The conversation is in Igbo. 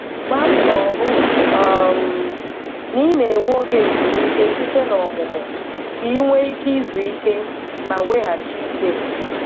Gbaá mbọ hụ um na ị na-enwe oge ezumike site na ọmụmụ, ka i nwee ike izu ike ma weghachi ike.